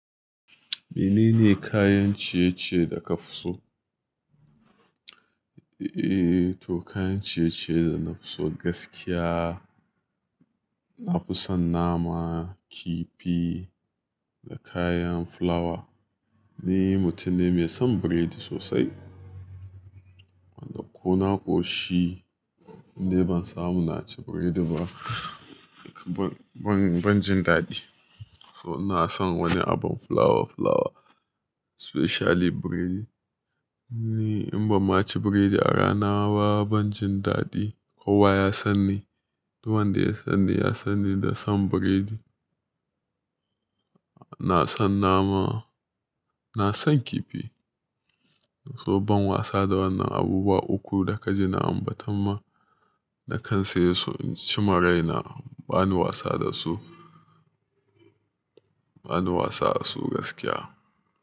Menene kayan ciye-ciye da ka fi so? Eee, to kayan ciye-ciye da na fi so gaskiya, na fi son nama, kifi da kayan fulawa. Ni mutum ne mai son burodi sosai. Wanda ko na ko shi idan ban samu na ci burodi ba, ban, ban, ban jin daɗi. So na san wani abin fulawa fulawa specially burodi. Ni in ba ma ci burodi a rana ba ban jin daɗi. Kowa ya san ni, duk wanda ya san ni ya san ni da son burodi. Na san nama, na san kifi. To ban wasa da wannan abubuwa uku da ka jina ba, tamma na kan saye su. In ci maraina bani wasa da su, bani wasa da su gaskiya.